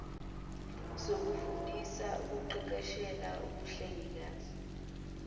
sokufundisa nokuqeqeshela ubuhlengikazi